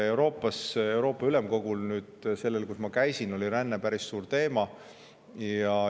Euroopa Ülemkogus, kus ma käisin, oli ränne päris suur teema.